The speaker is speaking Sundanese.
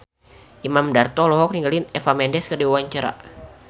Imam Darto olohok ningali Eva Mendes keur diwawancara